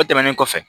O tɛmɛnen kɔfɛ